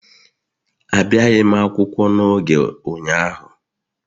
Abịaghi m akwụkwọ n'oge ụnyaahụ